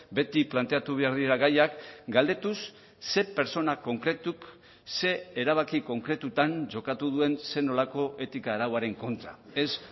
beti planteatu behar direla gaiak galdetuz ze pertsona konkretuk ze erabaki konkretutan jokatu duen zer nolako etika arauaren kontra ez